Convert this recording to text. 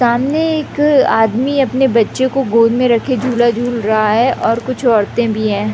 सामने एक आदमी अपने बच्चे को गोद में रखे झूला-झूल रहा है और कुछ औरते भी है।